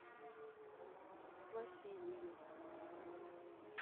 василию